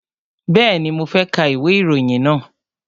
Bẹ́ẹ̀ni, mo fẹ́ ka ìwé ìròyìn náà